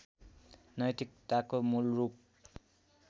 नैतिककथाको मूल रूप